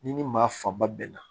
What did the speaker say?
Ni maa fanba bɛnna